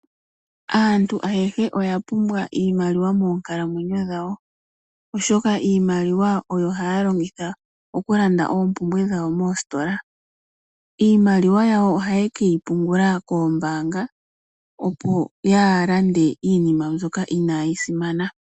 Aantu ayehe oyapumbwa iimaliwa monkalamwenyo dhawo, oshoka iimaliwa oyo haya longitha okulanda oompumbwe dhawo moositola. Iimaliwa yawo oha ye keyipungula koombaanga opo yaalande iinima mbyoka inaayisimana.